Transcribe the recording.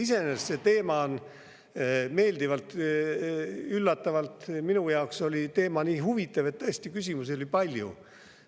Iseenesest see teema oli meeldivalt, minu jaoks üllatavalt huvitav ja tõesti küsimusi oli palju.